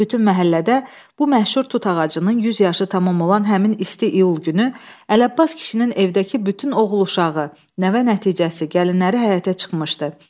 Bütün məhəllədə bu məşhur tut ağacının 100 yaşı tamam olan həmin isti iyul günü Ələbbas kişinin evdəki bütün oğul uşağı, nəvə nəticəsi, gəlinləri həyətə çıxmışdı.